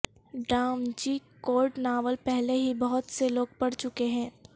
ڈا Vinci Code novel پہلے ہی بہت سے لوگ پڑھ چکے ہیں